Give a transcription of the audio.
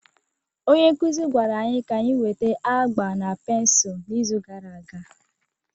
Onye nkuzi gwara anyị ka anyị weta agba na pensụl n'izu gara aga.